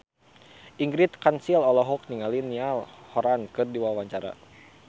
Ingrid Kansil olohok ningali Niall Horran keur diwawancara